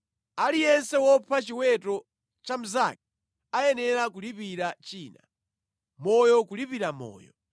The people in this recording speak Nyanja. Aliyense wopha chiweto cha mnzake ayenera kulipira china. Moyo kulipa moyo.